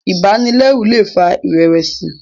ibanilẹru lè fà irẹwẹsi